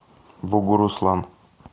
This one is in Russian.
бугуруслан